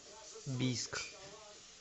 бийск